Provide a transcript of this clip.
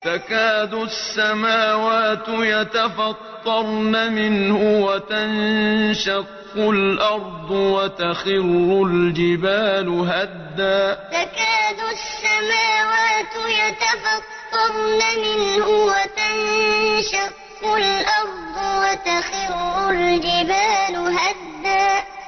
تَكَادُ السَّمَاوَاتُ يَتَفَطَّرْنَ مِنْهُ وَتَنشَقُّ الْأَرْضُ وَتَخِرُّ الْجِبَالُ هَدًّا تَكَادُ السَّمَاوَاتُ يَتَفَطَّرْنَ مِنْهُ وَتَنشَقُّ الْأَرْضُ وَتَخِرُّ الْجِبَالُ هَدًّا